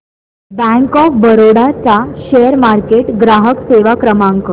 bank of Baroda चा share market ग्राहक सेवा क्रमांक